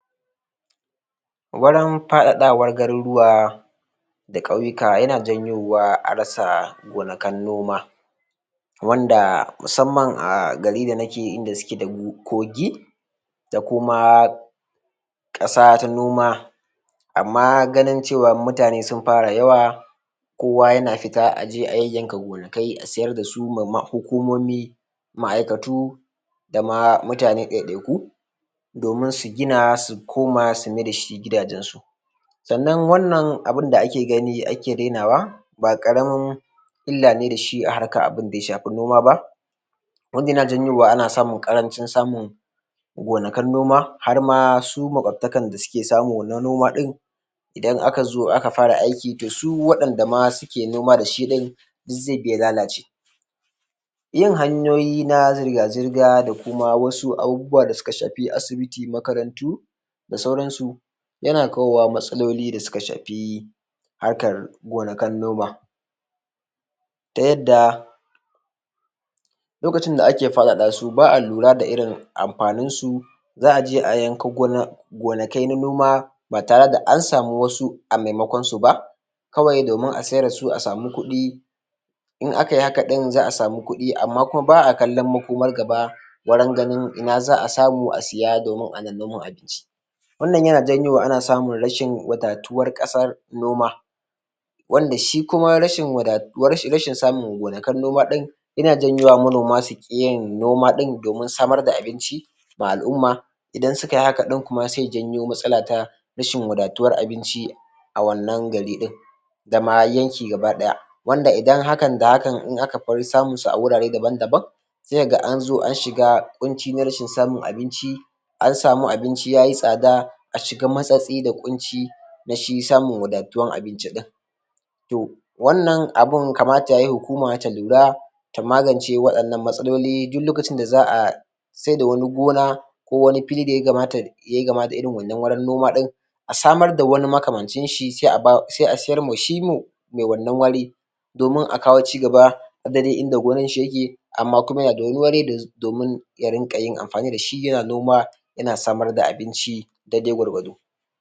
Wurin faɗaɗawar garuruwa da ƙauyuka yana janyowa a rasa gonakin noma wanda musamman a garin da suke da kogi da kuma ƙasa ta noma amma ganin cewa mutane sun fara yawa ma'aikatu da ma mutane ɗaiɗaiku domin su gina su koma su maida su gidajen su sannan wannan abunda ake gani ake rainawa ba ƙaramin illa ne da shi a harkan abunda ya shafi noma ba wanda yana janyowa a samu ƙarancin samun gonakin noma har ma su maƙubtakan da suke samu wannan noma ɗin idan aka zo aka fara aiki da su wanɗanda ma suke noma da shi ɗin duk zai bi ya lalace yin hanyoyi na zirga zirga da kuma wasu abubuwa da suka shafi asibiti, makarantu da sauransu yana kawo matsaloli da suka shafi harkan gonakin noma ta yadda lokacin da ake faɗaɗa su ba a lura da irin amfanin su za a je a yanki gonaki na noma Ba tare da an samu wasu a maimakon su ba kawai domin a sayar da su a samu kuɗi in aka yi haka ɗin za a samu kuɗi amma kuma ba a kallon makoman gaba wurin ganin ina za a samu a siya domin ana noman abinci wannan yana janyowa ana samun rashin buƙatuwar ƙasan noma wanda shi kuma rashin samun gonakin noman yana janyo manoma su ƙi yin noma ɗin domin samar da abinci ma al'umma idan suka yi haka ɗin kuma sai ya janyo matsala ta rashin wadatuwar abinci a wannan gari ɗin da ma yanki gaba ɗaya wanda idan hakan da hakan in aka koyi samun su a wurare daban daban sai ka ga an zo an shiga ƙunci na samun abinci an samu abinci yayi tsada a shiga matsatsi na shi samun wadatuwan abinci ɗin to wannan abun kamata yayi a hukuma ta lura ta magance waɗannan matsaloli duk lokacin da za a saida wani gona ko wani fili da yayi kama da irin wannan wurin noma ɗin a samar da wani makamancin shi sai a siyar ma shi mai wannan wuri domin a kawo cigaba duk da dai inda gonan shi yake ya rinƙa yin amfani da shi yana noma yana samar da abinci dai dai gwargwado.